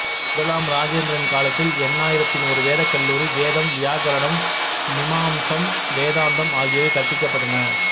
முதலாம் இராசேந்திரன் காலத்தில் எண்ணாயிரத்தின் ஒரு வேதக்கல்லூரி வேதம் வியாக்கரணம் மிமாம்சம் வேதாந்தம் ஆகியவை கற்பிக்கப்பட்டன